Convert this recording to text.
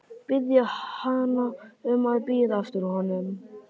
Biðja hana um að bíða eftir honum.